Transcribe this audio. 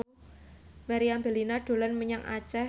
Meriam Bellina dolan menyang Aceh